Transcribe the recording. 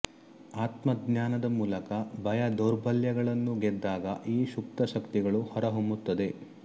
ಆತ್ಮಜ್ಞಾನದ ಮೂಲಕ ಭಯ ದೌರ್ಬಲ್ಯಗಳನ್ನು ಗೆದ್ದಾಗ ಈ ಸುಪ್ತ ಶಕ್ತಿಗಳು ಹೊರಹೊಮ್ಮುತ್ತವೆ